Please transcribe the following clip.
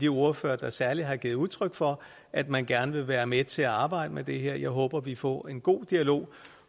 ordførerne der særlig har givet udtryk for at man gerne vil være med til at arbejde med det her og jeg håber vi får en god dialog